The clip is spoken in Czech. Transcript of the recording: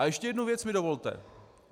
A ještě jednu věc mi dovolte.